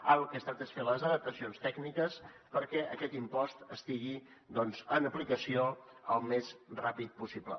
ara del que es tracta és de fer les adaptacions tècniques perquè aquest impost estigui doncs en aplicació al més ràpid possible